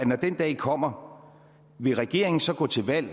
når den dag kommer vil regeringen så gå til valg